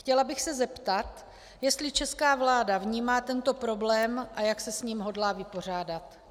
Chtěla bych se zeptat, jestli česká vláda vnímá tento problém a jak se s ním hodlá vypořádat.